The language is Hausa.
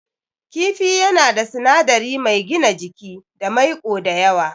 Kifi yana da sinadari mai gina jiki da maiƙo da yawa.